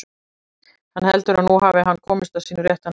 Hann heldur að nú hafi hann komist að sínu rétta nafni.